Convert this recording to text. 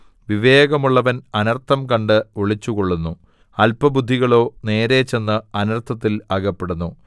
വിവേകമുള്ളവൻ അനർത്ഥം കണ്ട് ഒളിച്ചുകൊള്ളുന്നു അല്പബുദ്ധികളോ നേരെ ചെന്ന് അനർത്ഥത്തിൽ അകപ്പെടുന്നു